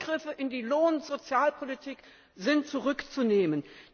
Die Eingriffe in die Lohn und Sozialpolitik sind zurückzunehmen!